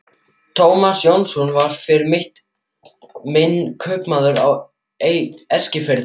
Tómas Jónsson var fyrir mitt minni kaupmaður á Eskifirði.